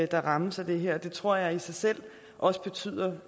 der rammes af det her og det tror jeg i sig selv også betyder